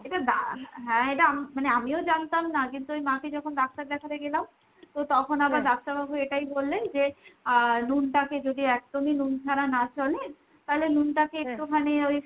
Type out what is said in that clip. এটা হ্যাঁ মানে এটা আমিও জানতাম না, কিন্তু আমি মাকে যখন ডাক্তার দেখাতে গেলাম তো তখন এটাই বললেন যে আহ নুনটাকে যদি একদমই নুন ছাড়া না চলে তালে নুনটাকে ওই